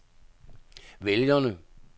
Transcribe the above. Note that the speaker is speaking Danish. vælgerne